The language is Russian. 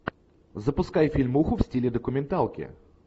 запускай фильмуху в стиле документалки